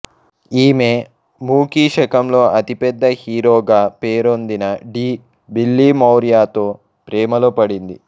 ఈమె మూకీ శకంలో అతి పెద్ద హీరోగా పేరొందిన డి బిల్లిమోరియాతో ప్రేమలో పడింది